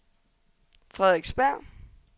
Frederiksberg